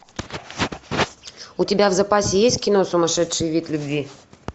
у тебя в запасе есть кино сумасшедший вид любви